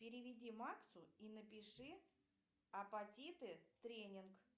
переведи максу и напиши апатиты тренинг